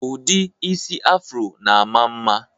Ụdị isi Afro na-ama mma